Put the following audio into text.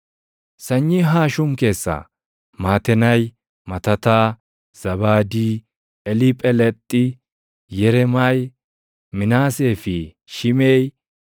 Sanyii Haashum keessaa: Matenaayi, Matataa, Zaabaadii, Eliiphelexi, Yereemaayi, Minaasee fi Shimeʼii.